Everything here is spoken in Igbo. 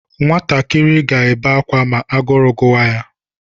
Nwatakịrị ga-ebe akwa ma agụrụ gụwa ya.